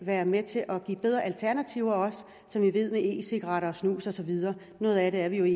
er med til at give bedre alternativer som vi ved at e cigaretter snus og så videre er noget af det er vi jo i